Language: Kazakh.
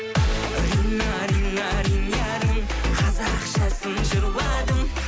рина рина ринярым қазақшасын жырладым